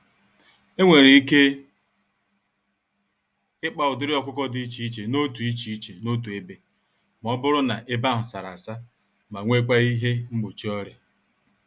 Enwere ike ịkpa ụdịrị ọkụkọ dị iche iche n'otu iche iche n'otu ebe, mọbụrụ na ebe ahụ sárá-asa ma nwekwa ihe mgbochi ọrịa.